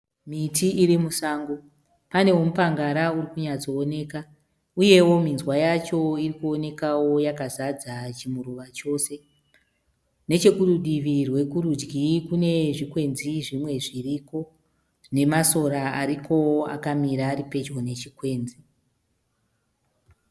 Miti irimusango pane wemupangara uri kunyatsooneka uyeo minzwa yacho irikuonekao yakazadza chimuruva chose. Nechekurudivi rwekurudyi kune zvikwenzi zvimwe zviriko zvine masora arikoo akamira aripedyo nezvikwenzi.